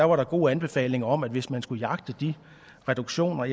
var der gode anbefalinger om at hvis man skulle jagte de reduktioner